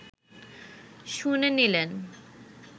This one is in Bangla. শুনে নিলেন